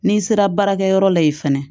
N'i sera baarakɛyɔrɔ la yen fɛnɛ